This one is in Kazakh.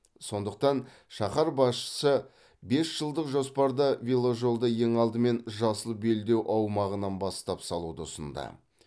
сондықтан шаһар басшысы бес жылдық жоспарда веложолды ең алдымен жасыл белдеу аумағынан бастап салуды ұсынды